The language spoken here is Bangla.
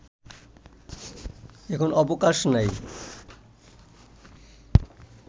এখন অবকাশ নাই